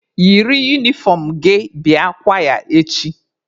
Yiri unifọm gị bịa kwaya echi!